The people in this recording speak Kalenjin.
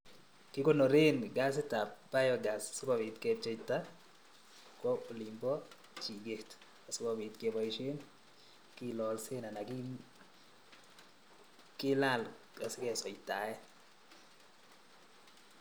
Kikonoren gasit ab biogas sikobit kepcheita kwo olin bo chiket asikobit keboisien kilolsen anan kilal asikesoitaen